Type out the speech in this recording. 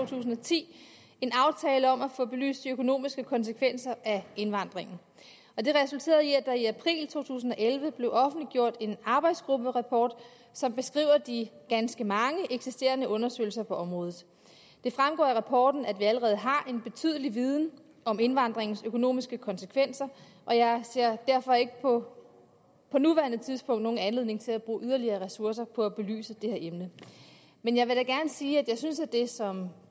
tusind og ti en aftale om at få belyst de økonomiske konsekvenser af indvandringen det resulterede i at der i april to tusind og elleve blev offentliggjort en arbejdsgrupperapport som beskriver de ganske mange eksisterende undersøgelser på området det fremgår af rapporten at vi allerede har en betydelig viden om indvandringens økonomiske konsekvenser og jeg ser derfor ikke på nuværende tidspunkt nogen anledning til at bruge yderligere ressourcer på at belyse det her emne men jeg vil da gerne sige at jeg synes at det som